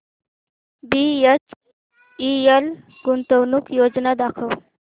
BHEL गुंतवणूक योजना दाखव